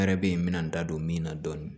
Yɛrɛ be yen n bɛna n da don min na dɔɔni